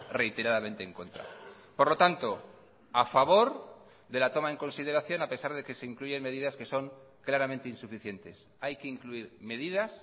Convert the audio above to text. reiteradamente en contra por lo tanto a favor de la toma en consideración a pesar de que se incluyen medidas que son claramente insuficientes hay que incluir medidas